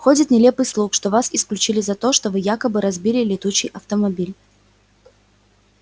ходит нелепый слух что вас исключили за то что вы якобы разбили летучий автомобиль